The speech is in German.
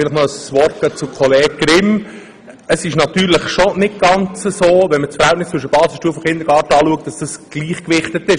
Ein Wort an Kollege Grimm: Wenn man Basisstufe und Kindergarten vergleicht, sieht man schon einen Unterschied in der Betreuung: